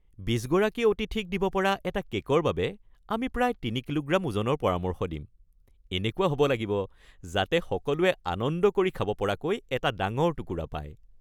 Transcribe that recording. ২০ গৰাকী অতিথিক দিব পৰা এটা কে'কৰ বাবে, আমি প্ৰায় তিনি কিলোগ্ৰাম ওজনৰ পৰামৰ্শ দিম। এনেকুৱা হ'ব লাগিব যাতে সকলোৱে আনন্দ কৰি খাব পৰাকৈ এটা ডাঙৰ টুকুৰা পায়।